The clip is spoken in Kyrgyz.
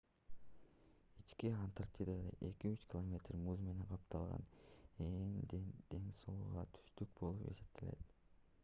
ички антарктида 2-3 километр муз менен капталган ээн дөңсөөлүү түздүк болуп эсептелет